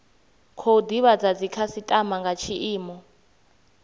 khou divhadza dzikhasitama nga tshiimo